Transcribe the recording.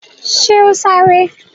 Ṣe ó sárá?